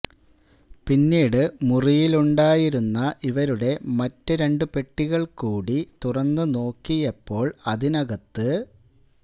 പിന്നീട് മുറിയിലുണ്ടായിരുന്ന ഇവരുടെ മറ്റ് രണ്ട് പെട്ടികള് കൂടി തുറന്നു നോക്കിയപ്പോള് അതിനകത്ത്